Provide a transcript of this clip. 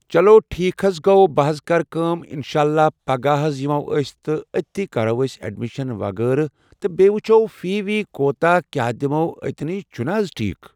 چلو ٹھیٖک حظ گوٚو بہٕ حظ کرٕ کٲم انشاءاللہ پگہہ حظ یِمو أسۍ تہٕ أتنی کرو أسۍ ایڈمِشن وغیرہ تہٕ بیٚیہِ وٕچھو فی وی کوٗتاہ کیاہ دِمو أتنی چھُ نَہ حظ ٹھیٖک